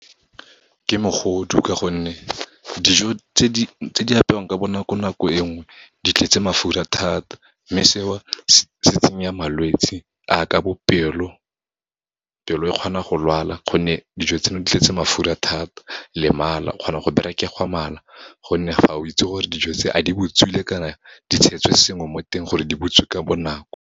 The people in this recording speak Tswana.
Ke mogodu ka gonne, dijo tse di apewang ka bonakonako e nngwe, di tletse mafura thata, mme seo se tsenya malwetse, a ke bo pelo. Pelo e kgona go lwala, gonne dijo tseno di tletse mafura thata. Le mala, o kgona go berekegwa mala, gonne ga o itse gore dijo tse a di botswile kana di tshetswe sengwe mo teng, gore di butswe ka bonako.